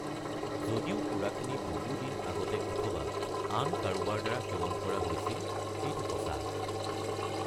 যদিও সুৰাখিনি বহু দিন আগতে অথবা আন কাৰোবাৰ দ্বাৰা সেৱন কৰা হৈছিল, এইটো সঁচা।